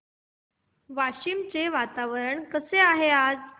वाशिम चे वातावरण कसे आहे आज